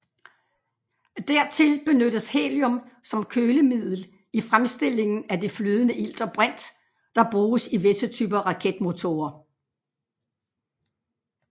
Dertil benyttes helium som kølemiddel i fremstillingen af det flydende ilt og brint der bruges i visse typer raketmotorer